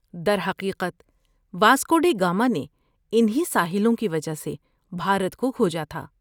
در حقیقت، Vasco da Gama نے ان ہی ساحلوں کی وجہ سے بھارت کو کھوجا تھا۔